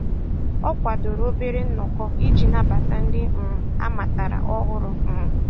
Ọ kwadoro obere nnọkọ iji nabata ndị um ha matara ọhụrụ. um